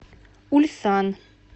ульсан